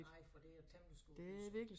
Nej for det et temmelig stort hus